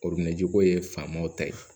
ko ye faamaw ta ye